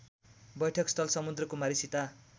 बैठकस्थल समुद्रकुमारी सीता